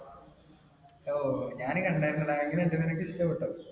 ഓ, ഞാനും കണ്ടായിരുന്നെടാ. എങ്ങനെണ്ട്? നിനക്കിഷ്ടപ്പെട്ടോ?